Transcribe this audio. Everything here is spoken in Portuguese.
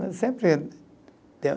Sempre.